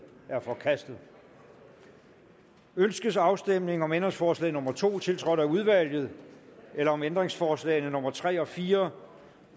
er forkastet ønskes afstemning om ændringsforslag nummer to tiltrådt af udvalget eller om ændringsforslag nummer tre og fire